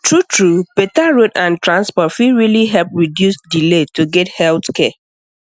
truetrue better road and transport fit really help reduce delay to get health care